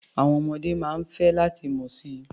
Àwọn ọmọdé máa ń fẹ́ láti mọ̀ si.